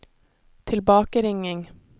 tilbakeringing